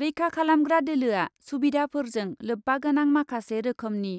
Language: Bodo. रैखा खालामग्रा दोलोआ सुबिधाफोरजों लोब्बा गोनां माखासे रोखोमनि